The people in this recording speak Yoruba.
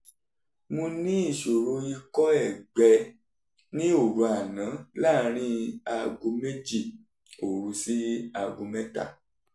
mo ní ìṣòro ikọ́ ẹ̀gbẹ ní òru àná láàárín aago méjì òru sí aago mẹ́ta